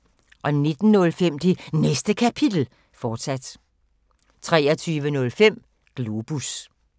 19:05: Det Næste Kapitel, fortsat 23:05: Globus